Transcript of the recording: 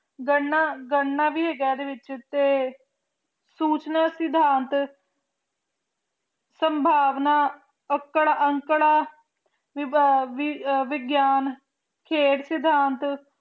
ਗਣਣਾ ਗਣਣਾ ਵੀ ਹੈਗਾ ਇਹਦੇ ਵਿੱਚ ਤੇ ਸੂਚਨਾ ਸਿਧਾਂਤ ਸੰਭਾਵਨਾ ਅੰਕੜ ਅੰਕੜਾ ਵਿਗਿਆਨ ਖੇਡ ਸਿਧਾਂਤ